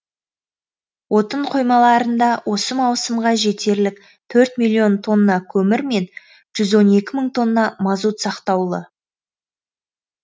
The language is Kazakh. отын қоймаларында осы маусымға жетерлік төрт миллион тонна көмір мен жүз он екі мың тонна мазут сақтаулы